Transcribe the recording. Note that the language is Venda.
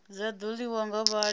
dza ḓo ḽiwa nga vhathu